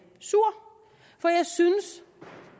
sur for jeg synes